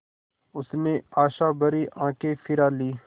उसने आशाभरी आँखें फिरा लीं